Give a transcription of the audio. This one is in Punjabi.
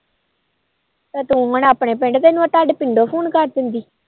ਤੂੰ ਹੁਣ ਆਪਣੇ ਪਿੰਡ ਮੈ ਤੋਡੇ ਪਿੰਡੋ phone ਕਰ ਦਿੰਦੀ